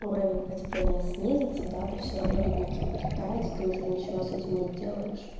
уровень потепления снизится да то всё равно ледники будут таять и ты уже ничего с этим не сделаешь